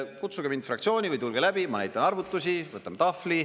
Kutsuge mind fraktsiooni või tulge läbi, ma näitan arvutusi, võtan tahvli.